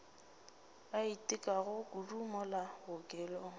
a itekago kudu mola bookelong